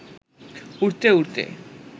উড়তে উড়তে